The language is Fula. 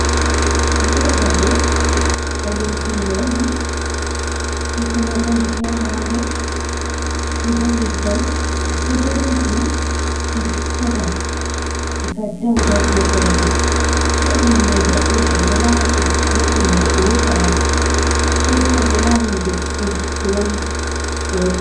Ɗobo babal ɗo bahosere onni sai kuma ɗon ciyawa ha dou sei bo nda leggal sei bo ɗon ndiyam je jippata diga dou dou hosere mai bo ndiyam mai boddum ba goɗɗo hosa yara sai bo enɗo lara himɓe ɗiɗi ɓeɗo wailiti.